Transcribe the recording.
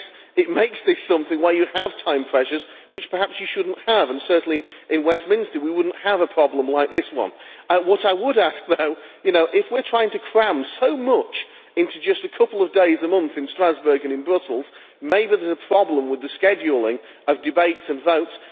It makes this something where you have time pressures which perhaps you should not have, and certainly in Westminster we would not have a problem like this one. What I would say, though, is that if we are trying to cram so much into just a couple of days a month in Strasbourg and in Brussels, maybe there is a problem with the scheduling of debates and votes.